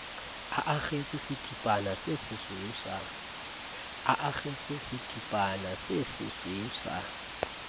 a akgetse setipana sesesweu sa